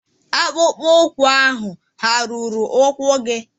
akpụkpọ ụkwụ ahụ hà ruru ụkwụ gị?